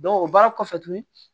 o baara kɔfɛ tuguni